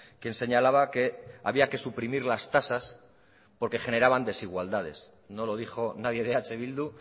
quien señalaba que había que suprimir las tasas porque generaban desigualdades no lo dijo nadie de eh bildu